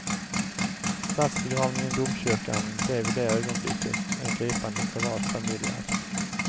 Statsbegravningen i domkyrkan blev i det ögonblicket en gripande privat familjeakt.